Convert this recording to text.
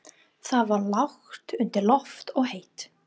Það var lágt undir loft og heitt.